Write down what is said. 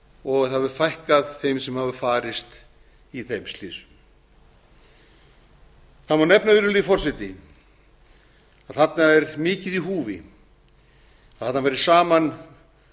og það hefur fækkað þeim sem hafa farist í þeim slysum það má nefna virðulegi forseti að þarna er mikið í húfi að þarna fari saman